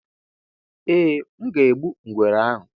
eeh, m ga-egbu ngwere ahụ